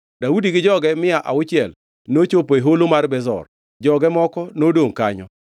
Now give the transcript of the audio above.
Daudi gi joge mia auchiel nochopo e Holo mar Besor, joge moko nodongʼ kanyo,